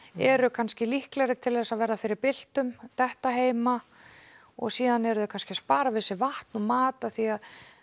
eru kannski líklegri til að verða fyrir byltum detta heima og síðan eru þau kannski að spara vatn og mat af því að